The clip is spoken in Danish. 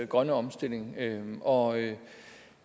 grønne omstilling og